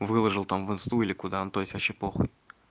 выложил там в инсту или куда ну то есть вообще похуй